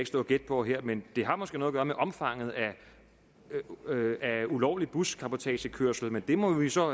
stå og gætte på her men det har måske noget at gøre med omfanget af ulovlig buscabotagekørsel men det må vi så